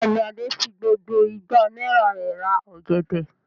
Bẹ́ẹ̀ ni, Adé fi gbogbo igba náírà rẹ̀ ra ọ̀gẹ̀dẹ̀.